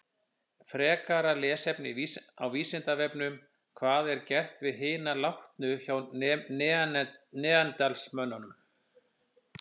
Frekara lesefni á Vísindavefnum: Hvað var gert við hina látnu hjá neanderdalsmönnum?